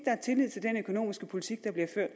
er tillid til den økonomiske politik der bliver ført